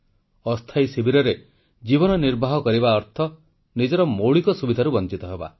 ଅସ୍ଥାୟୀ ଶିବିରରେ ଜୀବନ ନିର୍ବାହ କରିବା ଅର୍ଥ ମୌଳିକ ସୁବିଧାରୁ ବଂଚିତ ହେବା